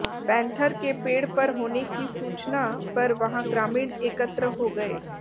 panther के पेड़ पर होने की सूचना पर वहां ग्रामीण एकत्र हो गए